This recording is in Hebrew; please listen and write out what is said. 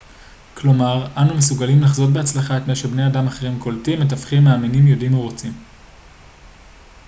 כלומר אנו מסוגלים לחזות בהצלחה את מה שבני אדם אחרים קולטים מתכוונים מאמינים יודעים או רוצים